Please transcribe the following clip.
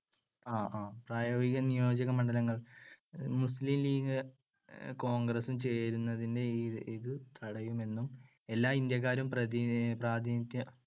പ്രായോഗിക നിയോജകമണ്ഡലങ്ങൾ മുസ്ലീം ലീഗ് കോൺഗ്രസ്സും ചേരുന്നതിനെ ഇത് തടയുമെന്നും എല്ലാ ഇന്ത്യക്കാരും പ്രാതിനിധ്യ